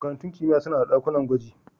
Makarantun kimiyya suna da ɗakunan gwaji.